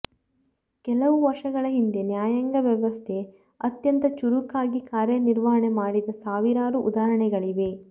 ಕೆಲವು ವರ್ಷಗಳ ಹಿಂದೆ ನ್ಯಾಯಾಂಗ ವ್ಯವಸ್ಥೆ ಅತ್ಯಂತ ಚುರುಕಾಗಿ ಕಾರ್ಯ ನಿರ್ವಹಣೆ ಮಾಡಿದ ಸಾವಿರಾರು ಉದಾಹರಣೆಗಳಿವೆ